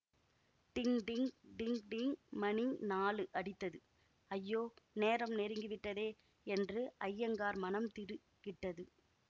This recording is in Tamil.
டிங் டிங் டிங் டிங் மணி நாலு அடித்தது ஐயோ நேரம் நெருங்கிவிட்டதே என்று அய்யங்கார் மனம் திடுக்கிட்டது